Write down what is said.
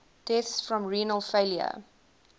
deaths from renal failure